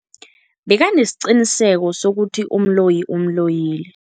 Bekanesiqiniseko sokuthi umloyi umloyile.